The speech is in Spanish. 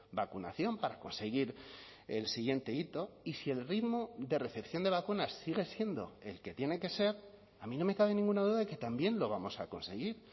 vacunación para conseguir el siguiente hito y si el ritmo de recepción de vacunas sigue siendo el que tiene que ser a mí no me cabe ninguna duda de que también lo vamos a conseguir